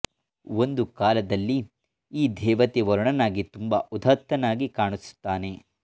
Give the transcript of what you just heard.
ಒಂದು ಕಾಲದಲ್ಲಿ ಈ ದೇವತೆ ವರುಣನಾಗಿ ತುಂಬ ಉದಾತ್ತನಾಗಿ ಕಾಣಿಸುತ್ತಾನೆ